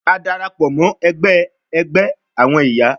A darapọ mọ ẹgbẹ ẹgbẹ awọn iya